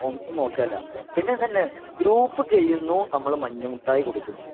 ഒന്നും നോക്കാനില്ല . പിന്നെ ഇതന്നെ ഗ്രൂപ്പ് കഴിയുന്നു നമ്മള് മഞ്ഞ മുട്ടായി കൊടുക്കുന്നു .